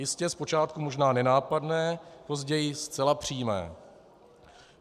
Jistě zpočátku možná nenápadné, později zcela přímé.